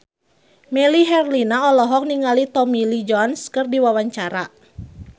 Melly Herlina olohok ningali Tommy Lee Jones keur diwawancara